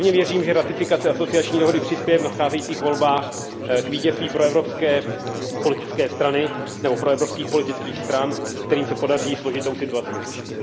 Pevně věřím, že ratifikace asociační dohody přispěje v nadcházejících volbách k vítězství proevropské politické strany nebo proevropských politických stran, kterým se podaří složitou situaci vyřešit.